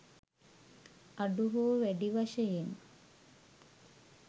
අඩු හෝ වැඩි වශයෙන්